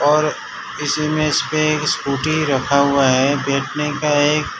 और इसीमें इसपे एक स्कूटी रखा हुआ है बैठने का एक--